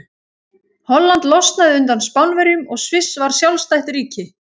Holland losnaði undan Spánverjum og Sviss varð sjálfstætt ríki.